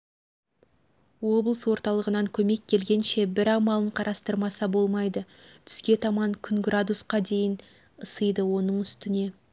облыс орталығынан көмек келгенше бір амалын қарастырмаса болмайды түске таман күн градусқа дейін ысиды оның үстіне